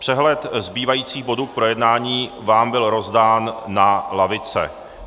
Přehled zbývajících bodů k projednání vám byl rozdán na lavice.